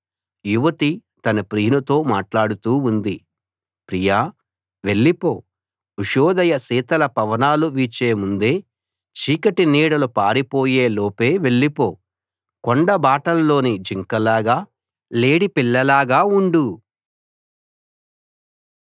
యువతి తన ప్రియునితో మాట్లాడుతూ ఉంది ప్రియా వెళ్ళిపో ఉషోదయ శీతల పవనాలు వీచే ముందే చీకటి నీడలు పారిపోయే లోపే వెళ్ళిపో కొండ బాటల్లోని జింక లాగా లేడిపిల్లలాగా ఉండు